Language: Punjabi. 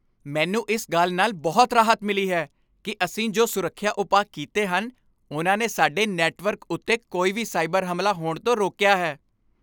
ਮੈਨੂੰ ਇਸ ਗੱਲ ਨਾਲ ਬਹੁਤ ਰਾਹਤ ਮਿਲੀ ਹੈ ਕਿ ਅਸੀਂ ਜੋ ਸੁਰੱਖਿਆ ਉਪਾਅ ਕੀਤੇ ਹਨ, ਉਨ੍ਹਾਂ ਨੇ ਸਾਡੇ ਨੈੱਟਵਰਕ ਉੱਤੇ ਕੋਈ ਵੀ ਸਾਈਬਰ ਹਮਲਾ ਹੋਣ ਤੋਂ ਰੋਕਿਆ ਹੈ।